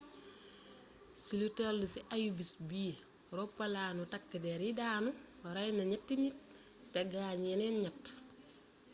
ci lu tél ci ayubés bi roppalaanu takk dér yi daanu rayna ñétti nit té gaañ yéneen ñett